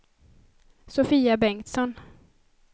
Sofia Bengtsson